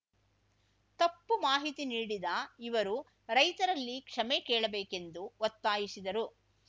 ತಪ್ಪು ಮಾಹಿತಿ ನೀಡಿದ ಇವರು ರೈತರಲ್ಲಿ ಕ್ಷಮೆ ಕೇಳಬೇಕೆಂದು ಒತ್ತಾಯಿಸಿದರು